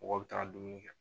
Mɔgɔ bɛ taga dumuni kɛ